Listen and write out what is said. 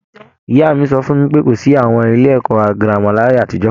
Ìyá mi sọ fún mi pé, kò sí àwọn ilé ẹ̀kọ́ girama láyé àtijọ́